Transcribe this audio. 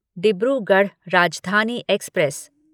Dibrugarh Rajdhani express